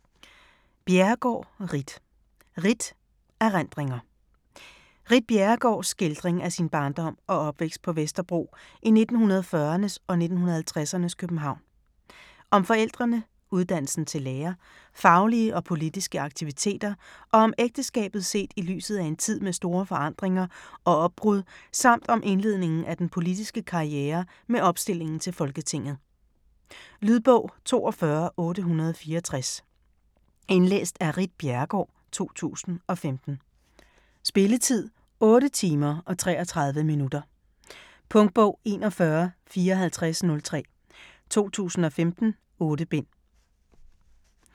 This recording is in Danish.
Bjerregaard, Ritt: Ritt: erindringer Ritt Bjerregaards (f. 1941) skildring af sin barndom og opvækst på Vesterbro i 1940'ernes og 1950'ernes København. Om forældrene, uddannelsen til lærer, faglige og politiske aktiviteter og om ægteskabet set i lyset af en tid med store forandringer og opbrud samt om indledningen af den politiske karriere med opstillingen til Folketinget. Lydbog 42864 Indlæst af Ritt Bjerregaard, 2015. Spilletid: 8 timer, 33 minutter. Punktbog 415403 2015. 8 bind.